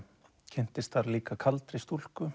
kynntist þar líka kaldri stúlku